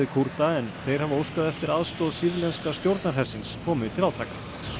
Kúrda en þeir hafa óskað eftir aðstoð sýrlenska stjórnarhersins komi til átaka